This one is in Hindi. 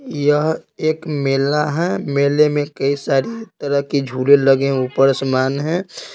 यह एक मेला है मेले में कई सारी रह के झूले लगे ऊपर समान है।